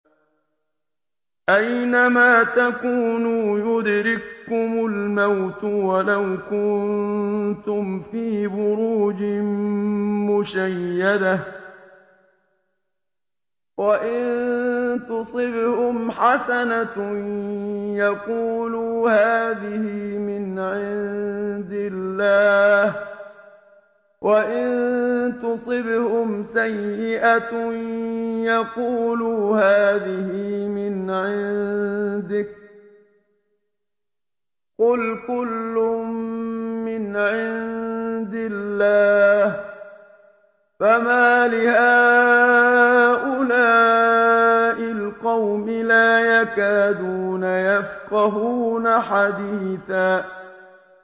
أَيْنَمَا تَكُونُوا يُدْرِككُّمُ الْمَوْتُ وَلَوْ كُنتُمْ فِي بُرُوجٍ مُّشَيَّدَةٍ ۗ وَإِن تُصِبْهُمْ حَسَنَةٌ يَقُولُوا هَٰذِهِ مِنْ عِندِ اللَّهِ ۖ وَإِن تُصِبْهُمْ سَيِّئَةٌ يَقُولُوا هَٰذِهِ مِنْ عِندِكَ ۚ قُلْ كُلٌّ مِّنْ عِندِ اللَّهِ ۖ فَمَالِ هَٰؤُلَاءِ الْقَوْمِ لَا يَكَادُونَ يَفْقَهُونَ حَدِيثًا